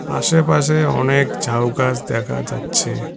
আশেপাশে অনেক ঝাউ গাছ দেখা যাচ্ছে।